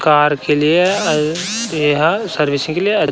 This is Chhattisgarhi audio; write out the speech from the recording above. कार के लिए ए एह सर्विसिंग के लिए --